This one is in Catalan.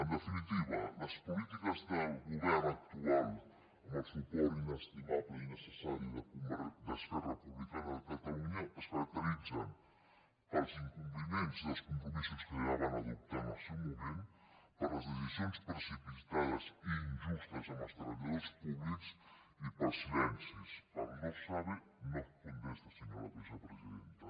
en definitiva les polítiques del govern actual amb el suport inestimable i necessari d’esquerra republicana de catalunya es caracteritzen pels incompliments dels compromisos que ja van adoptar en el seu moment per les decisions precipitades i injustes amb els treballadors públics i pels silencis pel no sabe no contesta senyora vicepresidenta